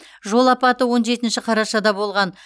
жол апаты он жетінші қарашада болған